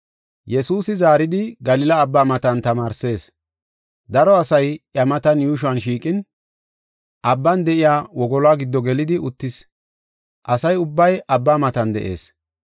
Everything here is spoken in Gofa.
Yesuusi zaaridi Galila Abbaa matan tamaarsees. Daro asay iya matan yuushuwan shiiqin, abban de7iya wogoluwa giddo gelidi uttis, asa ubbay Abbaa matan de7ees.